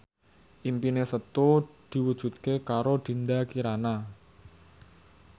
impine Setu diwujudke karo Dinda Kirana